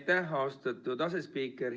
Aitäh, austatud asespiiker!